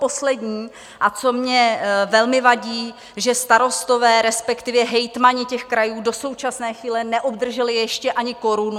Poslední, a co mně velmi vadí, že starostové, respektive hejtmani těch krajů, do současné chvíle neobdrželi ještě ani korunu.